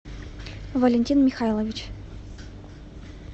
валентин михайлович